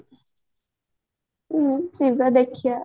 ହ୍ମ ଯିବା ଦେଖିବା